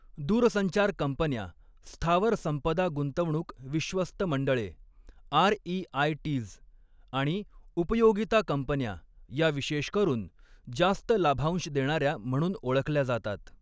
दूरसंचार कंपन्या, स्थावर संपदा गुंतवणूक विश्वस्त मंडळे आरईआयटीज् आणि उपयोगिता कंपन्या या विशेष करून जास्त लाभांश देणाऱ्या म्हणून ओळखल्या जातात.